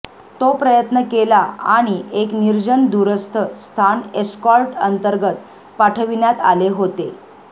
तो प्रयत्न केला आणि एक निर्जन दूरस्थ स्थान एस्कॉर्ट अंतर्गत पाठविण्यात आले होते